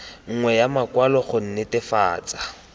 nngwe ya makwalo go netefatsa